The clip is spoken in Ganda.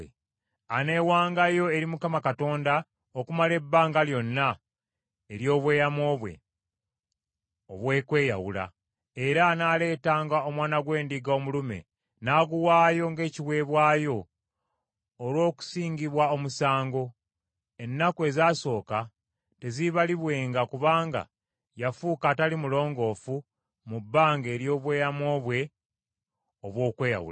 Aneewangayo eri Mukama Katonda okumala ebbanga lyonna ery’obweyamo bwe obw’okweyawula, era anaaleetanga omwana gw’endiga omulume n’aguwaayo ng’ekiweebwayo olw’okusingibwa omusango. Ennaku ezaasooka teziibalibwenga kubanga yafuuka atali mulongoofu mu bbanga ery’obweyamo bwe obw’okweyawula.